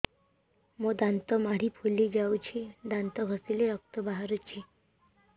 ମୋ ଦାନ୍ତ ମାଢି ଫୁଲି ଯାଉଛି ଦାନ୍ତ ଘଷିଲେ ରକ୍ତ ବାହାରୁଛି